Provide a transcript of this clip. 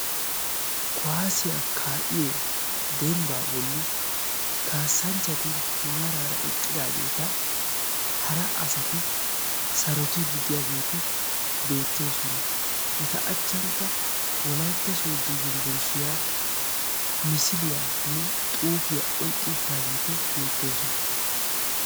Kuwaasiya ka"iyo dembba bolli kaasanchchati maarara eqqidageeta hara asati eta sarotiyageeti beettoosona. Eta achchankka wolaytta sooddo yunbburushshiyaa misiliyanne xuufiyaa oyqqi uttaageeti beettosona.